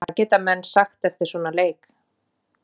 Hvað geta menn sagt eftir svona leik?